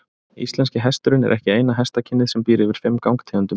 Íslenski hesturinn er ekki eina hestakynið sem býr yfir fimm gangtegundum.